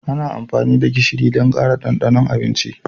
Ana amfani da gishiri don ƙara ɗanɗanon abinci.